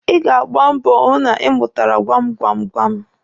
Ị ga-agba mbọ hụ na ị mụtara gwam gwam gwam.